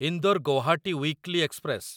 Indore Guwahati weekly express